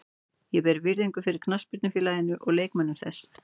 Ég ber virðingu fyrir knattspyrnufélaginu og leikmönnum þess.